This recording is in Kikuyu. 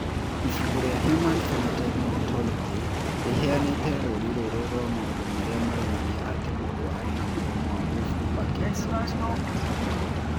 Ibuku rĩa Human Phenotype Ontology rĩheanĩte rũũri rũrũ rwa maũndũ marĩa monanagia atĩ mũndũ arĩ na mũrimũ wa Wolff Parkinson White.